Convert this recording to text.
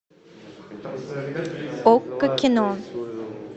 окко кино